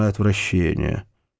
отвращение